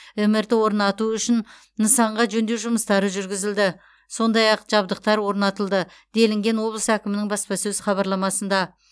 мрт орнату үшін нысанға жөндеу жұмыстары жүргізілді сондай ақ жабдықтар орнатылды делінген облыс әкімінің баспасөз хабарламасында